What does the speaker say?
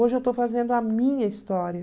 Hoje eu estou fazendo a minha história.